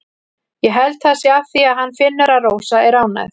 Ég held það sé af því að hann finnur að Rósa er ánægð.